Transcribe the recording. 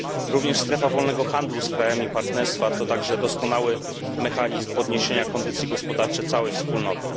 Również strefa wolnego handlu z krajami partnerstwa to także doskonały mechanizm podniesienia kondycji gospodarczej całej wspólnoty.